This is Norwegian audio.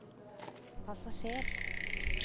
passasjer